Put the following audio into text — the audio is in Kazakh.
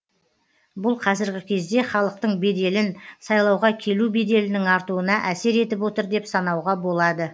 бұл қазіргі кезде халықтың беделін сайлауға келу беделінің артуына әсер етіп отыр деп санауға болады